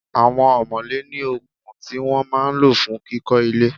Àwọn omole ní okùn tí wọ́n máa ń lọ fún kíkó ilé.